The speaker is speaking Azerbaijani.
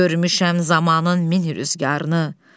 Görmüşəm zamanın min rüzgarını.